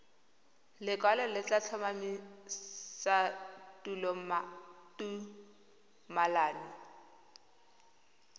lekwalo le tla tlhomamisa tumalano